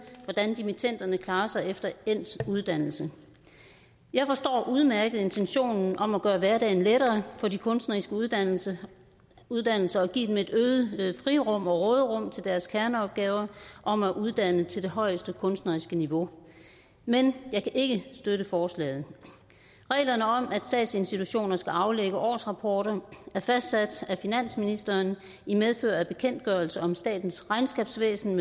hvordan dimittenderne klarer sig efter endt uddannelse jeg forstår udmærket intentionen om at gøre hverdagen lettere for de kunstneriske uddannelser uddannelser og give dem et øget frirum og råderum til deres kerneopgaver om at uddanne til det højeste kunstneriske niveau men jeg kan ikke støtte forslaget reglerne om at statsinstitutioner skal aflægge årsrapporter er fastsat af finansministeren i medfør af bekendtgørelse om statens regnskabsvæsen